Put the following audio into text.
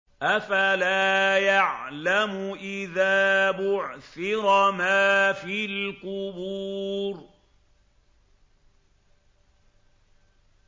۞ أَفَلَا يَعْلَمُ إِذَا بُعْثِرَ مَا فِي الْقُبُورِ